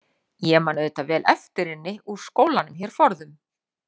Ég man auðvitað vel eftir henni úr skólanum hér forðum.